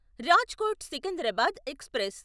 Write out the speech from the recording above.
Rajkot Secunderabad express